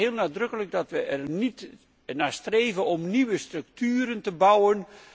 Ik begrijp heel nadrukkelijk dat we er niet naar streven om nieuwe structuren te bouwen.